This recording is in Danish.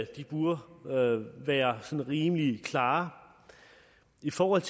de burde være sådan rimelig klare i forhold